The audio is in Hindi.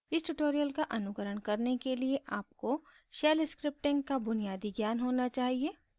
इस tutorial का अनुकरण करने के लिए आपको shell scripting का बुनियादी ज्ञान होना चाहिए